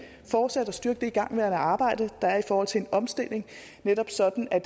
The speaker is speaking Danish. fortsætte og styrke det igangværende arbejde der er i forhold til en omstilling netop sådan at